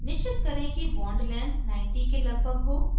निश्चित करें कि bond length 90 के लगभग हो